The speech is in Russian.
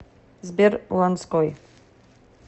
сбер ланской